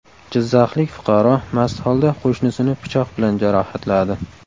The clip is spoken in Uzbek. Jizzaxlik fuqaro mast holda qo‘shnisini pichoq bilan jarohatladi.